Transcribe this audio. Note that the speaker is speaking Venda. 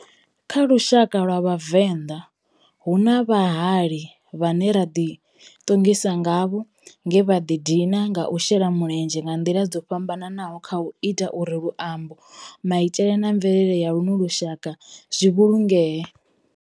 Kha lushaka lwa Vhavenda, hu na vhahali vhane ra di tongisa ngavho nge vha di dina nga u shela mulenzhe nga ndila dzo fhambananaho khau ita uri luambo, maitele na mvelele ya luno lushaka zwi vhulungee.